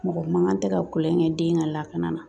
Mɔgɔ man kan tɛ ka tulon kɛ den ka lakana na